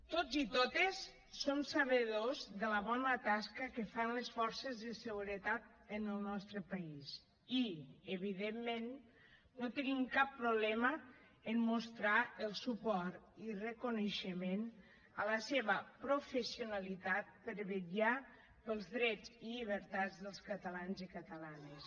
tots i totes som sabedors de la bona tasca que fan les forces de seguretat en el nostre país i evidentment no tenim cap problema en mostrar el suport i reconeixement a la seva professionalitat per a vetllar pels drets i llibertats dels catalans i catalanes